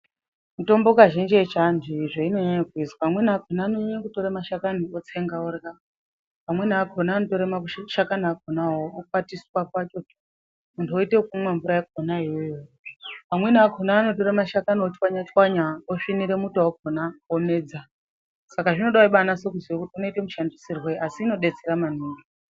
Mitombo kazhinji ye chi antu iyi zvaino nyanya kuizwa amweni akona ano nyanya tora mashakani otsenga orya amweni akona anotora maku shakani akonawo okwatiswa pachoto muntu woite yekumwa mvura yakona iyoyo amweni akona anotora mashakani otswanya tswanya osvinire muto wakona omedza.